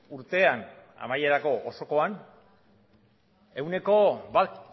urtean amaierako osokoan ehuneko bat